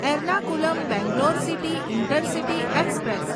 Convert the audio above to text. Ernakulam Bangalore city intercity express